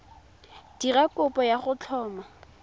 dira kopo ya go tlhoma